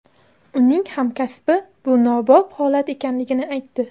Uning hamkasbi bu nobop holat ekanligini aytdi.